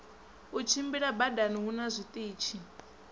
u tshimbila badani huna zwiṱitshi